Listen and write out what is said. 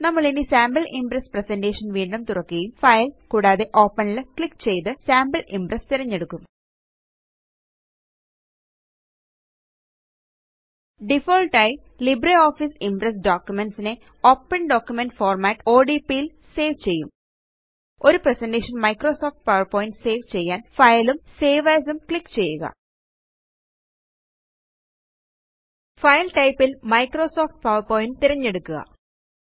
നമ്മളിനി sample Impress presentation വീണ്ടും തുറക്കുകയും ഫൈൽ കൂടാതെ ഓപ്പൻ ല് ക്ലിക്ക് ചെയ്ത് സാംപിൾ ഇംപ്രസ് തിരഞ്ഞെടുക്കും ഡിഫാൾട്ട് ആയി ലിബ്രിയോഫീസ് ഇംപ്രസ് ഡോകുമെന്റ്സ് നെ ഓപ്പൻ ഡോക്യുമെന്റ് ഫോർമാറ്റ് ല് സേവ് ചെയ്യും ഒരു പ്രസന്റേഷൻ മൈക്രോസോഫ്റ്റ് പവർപോയിന്റ് സേവ് ചെയ്യാന് Fileഉം സേവ് asഉം ക്ലിക്ക് ചെയ്യുക ഫൈൽ ടൈപ്പ് ല് മൈക്രോസോഫ്റ്റ് പവർപോയിന്റ് തിരഞ്ഞെടുക്കുക